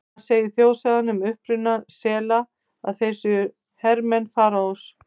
Annars segir þjóðsagan um uppruna sela að þeir séu hermenn Faraós.